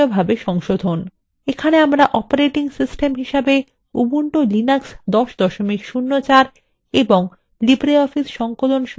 এখানে আমরা operating system হিসেবে উবুন্টু লিনাক্স ১০ ০৪ এবং libreoffice সংকলন সংস্করণ ৩ ৩ ৪ ব্যবহার করছি